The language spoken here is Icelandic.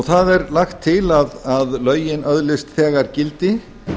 það er lagt til að lögin öðlist þegar gildi